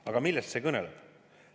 Aga millest see kõneleb?